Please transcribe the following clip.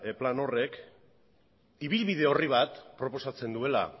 plan horrek ibilbide orri bat proposatzen duela